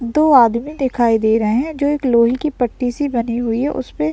दो आदमी दिखाई दे रहे हैं जो एक लोहे की पट्टी से बने हुए है उसपे --